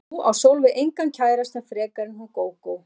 Því að nú á Sólveig engan kærasta frekar en hún Gógó.